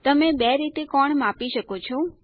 તમે બે રીતે કોણ માપી શકો છો